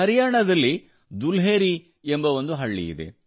ಹರಿಯಾಣದಲ್ಲಿ ದುಲ್ಹೇರಿ ಎಂಬ ಒಂದು ಹಳ್ಳಿಯಿದೆ